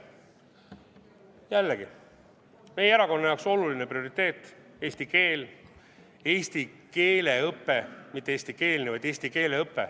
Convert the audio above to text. Jällegi, meie erakonna jaoks oluline prioriteet, eesti keel, eesti keele õpe – mitte eestikeelne, vaid eesti keele õpe.